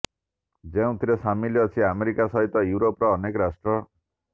ଯେଉଁଥିରେ ସାମିଲ୍ ଅଛି ଆମେରିକା ସହିତ ୟୁରୋପର ଅନେକ ରାଷ୍ଟ୍ର